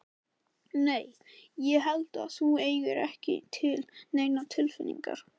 Nei. ég held að þú eigir ekki til neinar tilfinningar.